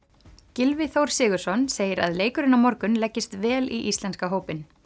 Gylfi Þór Sigurðsson segir að leikurinn á morgun leggist vel í íslenska hópinn